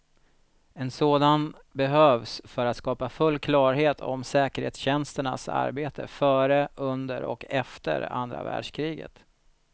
En sådan behövs för att skapa full klarhet om säkerhetstjänsternas arbete före, under och efter andra världskriget.